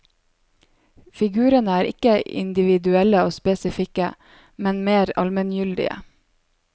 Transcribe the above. Figurene er ikke individuelle og spesifikke, men mer almengyldige.